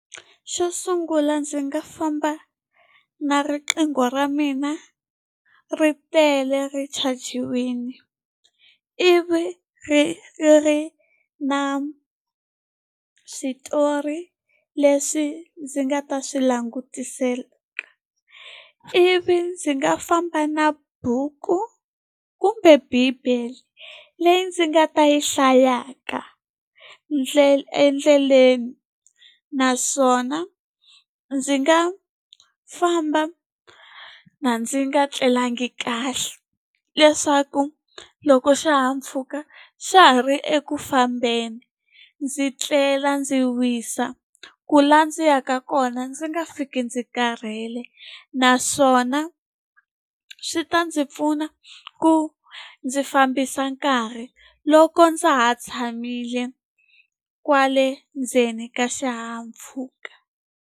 Xo sungula ndzi nga famba na riqingho ra mina ri tele ri chajiwile, ivi ri ri na switori leswi ndzi nga ta swi langutisaka. Ivi ndzi nga famba na buku kumbe bible leyi ndzi nga ta yi hlayaka endleleni, naswona ndzi nga famba ndzi nga tlelanga kahle leswaku loko xihahampfhuka xa ha ri eku fambeni, ndzi tlela ndzi wisa. Ku laha ndzi ya ka kona ndzi nga fiki ndzi karhele. Naswona swi ta ndzi pfuna ku ndzi fambisa nkarhi loko ndza ha tshamile kwale ndzeni ka xihahampfhuka.